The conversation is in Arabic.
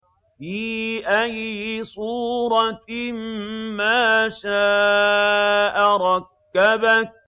فِي أَيِّ صُورَةٍ مَّا شَاءَ رَكَّبَكَ